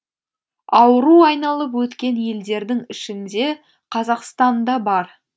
ауру айналып өткен елдердің ішінде қазақстан да бар